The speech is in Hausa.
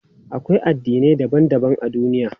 Akwai addinai daban daban a duniya.